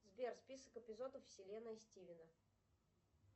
сбер список эпизодов вселенная стивена